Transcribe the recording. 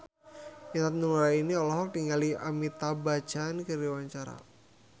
Intan Nuraini olohok ningali Amitabh Bachchan keur diwawancara